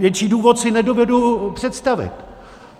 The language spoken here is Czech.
Větší důvod si nedovedu představit.